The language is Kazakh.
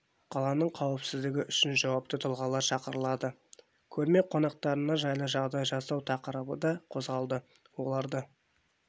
қаланың қауіпсіздігі үшін жауапты тұлғалар шақырылады көрме қонақтарына жайлы жағдай жасау тақырыбы да қозғалды оларды